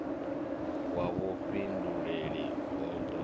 wa vhufhinduleli hu d o